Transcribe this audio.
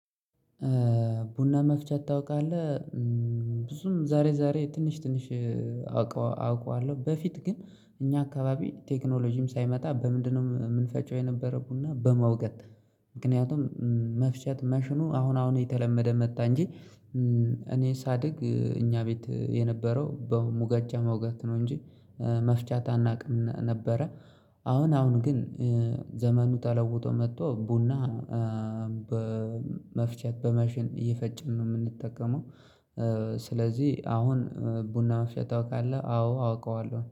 ቡና መፍጨት ታውቃለህ። ብዙም ዛሬ ዛሬ ትንሽ ትንሽ አውቀዋለሁ በፊት ግን እኛ አካባቢ ቴክኖሎጂም ሳይመጣ በምንድነው የምንፈጪው የነበረው ቡና በመውገድ ምክንያቱም መፍሸት መሽኑ አሁን አሁን የተለመደ መጣ እንጂ። እኔ ሳድግ እኛ ቤት የነበረው በሙገጫ መውገጥ ነው እንጂ መፍጨትት አናውቅም ነበረ። አሁን አሁን ግን ዘመኑ ተለውቶ መጥቶ ቡና በመፍጨት በመሽን እየፈጨን ነው የምንጠቀመው። ስለዚህ አሁን ቡና መፍጨት ታውቃለህ? አዎ አውቀዋለሁ